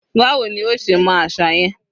Báwo ní o ṣe mọ àṣà yẹn?